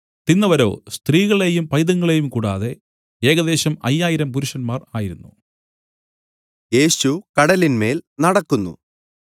തിന്നവരോ സ്ത്രീകളെയും പൈതങ്ങളെയും കൂടാതെ ഏകദേശം അയ്യായിരം പുരുഷന്മാർ ആയിരുന്നു